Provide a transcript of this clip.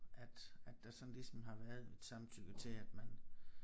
At at der sådan ligesom har været et samtykke til at man